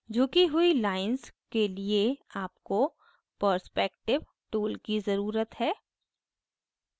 झुकी हुई lines के लिए आपको perspective tool की ज़रुरत है